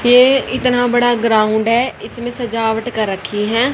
ये इतना बड़ा ग्राउंड है इसमें सजावट कर रखी है।